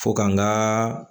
Fo ka n ka